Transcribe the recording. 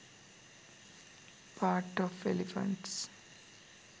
pats of elephants